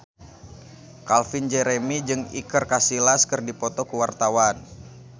Calvin Jeremy jeung Iker Casillas keur dipoto ku wartawan